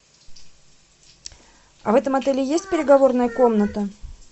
а в этом отеле есть переговорная комната